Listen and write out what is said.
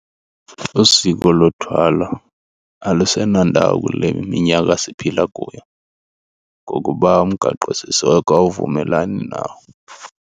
Usiko lothwala alusenandawo kule minyaka siphila kuyo ngokuba umgaqosiseko awuvumelani nawo.